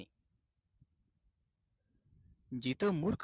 इथ मूर्ख